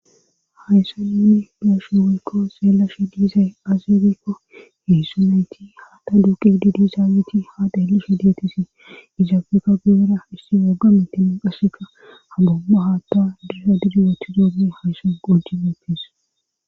hayssa ninni gashuwoykko seellashi diizay azebekko heyssu nayti haatta duuqi didi zaabeti haa deeli shi detisi izaafeeka guyera isti wagga mitimu qaseka ha bomba haatta dusa didugathu doomu haysan qoji meopkes